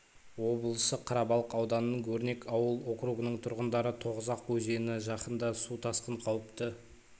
облысы қарабалық ауданының өрнек ауыл округының тұрғындары тоғызақ өзені жақында су тасқын қауіпті